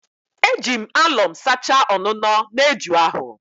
Eji m alọm sachaa ọnụnọ na eju ahụ